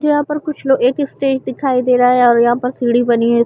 यहाँ पर कुछ लोग एक स्टेज दिखाई दे रहा है और यहा पर सीढ़ी बनी हुई--